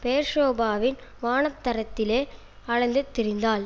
பெயர்சொபாவின் வனாந்தரத்திலே அலைந்து திரிந்தாள்